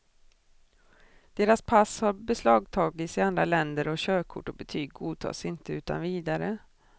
Deras pass har beslagtagits i andra länder och körkort och betyg godtas inte utan vidare.